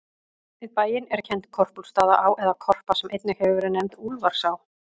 Við bæinn er kennd Korpúlfsstaðaá, eða Korpa, sem einnig hefur verið nefnd Úlfarsá.